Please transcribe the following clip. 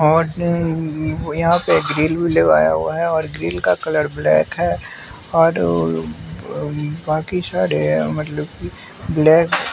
और यहाँ पे ग्रिल भी लगाया हुआ है और ग्रिल का कलर ब्लैक है और बाकी सारे मतलब कि ब्लैक --